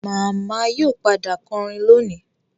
Màmá yóò padà kọrin lónìí